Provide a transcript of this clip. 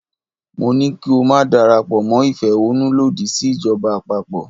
Mo ní ko máa darapọ̀ mọ́ ìfẹ̀hánnú lòdì sí ìjọba àpapọ̀.